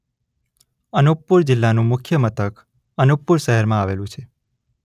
અનૂપપુર જિલ્લાનું મુખ્ય મથક અનૂપપુર શહેરમાં આવેલું છે.